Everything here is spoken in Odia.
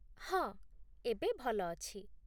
ହଁ, ଏବେ ଭଲ ଅଛି